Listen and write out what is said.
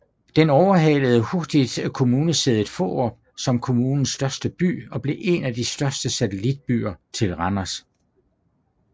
Den overhalede hurtigt kommunesædet Fårup som kommunens største by og blev en af de største satellitbyer til Randers